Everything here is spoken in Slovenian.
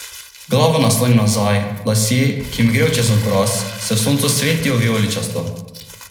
Verjetno se jim zdi tudi, da je njena pisna izjava v ruščini le prevedena iz angleščine, češ da so ji naročili, kaj naj pove.